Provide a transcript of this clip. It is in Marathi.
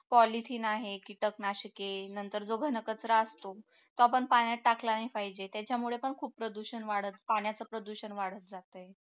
polithin आहे कीटकनाशके नंतर जो घनकचरा असतो तो आपण पाण्यात टाकला नाही पाहिजे त्याच्यामुळे पण खूप प्रदूषण वाढत पाण्याचा प्रदूषण वाढत जाते